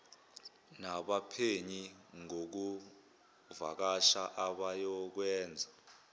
nabaphenyi ngokuvakasha abayokwenza